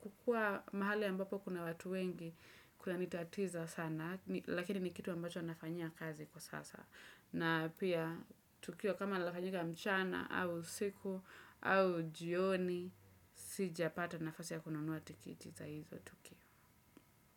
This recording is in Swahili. kukua mahali ambapo kuna watu wengi kunanitatiza sana. Lakini ni kitu ambacho nafanyia kazi kwa sasa. Na pia tukio kama linafanyika mchana, au usiku au jioni. Sijapata nafasi ya kununua tikite za hizo tukio.